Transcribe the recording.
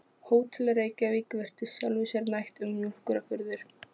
Hótel Reykjavík virtist sjálfu sér nægt um mjólkurafurðir.